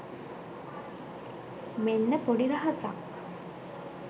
මෙන්න පොඩි රහසක්